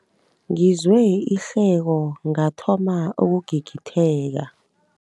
Ngizwe ihleko ngathoma ukugigitheka.